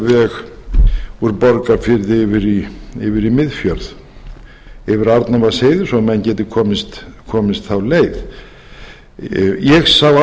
veg úr borgarfirði yfir í miðfjörð yfir arnarvatnsheiði svo menn geti komist þá leið ég sá